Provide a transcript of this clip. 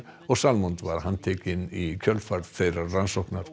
og Salmond var handtekinn í kjölfar þeirrar rannsóknar